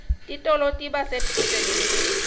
titolo tiba sedvute nemiti